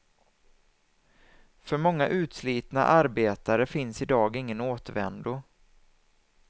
För många utslitna arbetare finns i dag ingen återvändo.